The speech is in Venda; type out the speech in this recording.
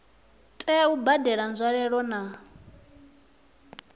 tea u badela nzwalelo na